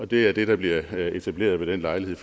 det er det der bliver etableret ved den lejlighed